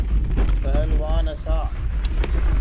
पहलवान हँसा